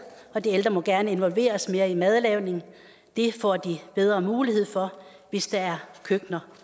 og de ældre må gerne involveres mere i madlavningen det får de bedre mulighed for hvis der er køkkener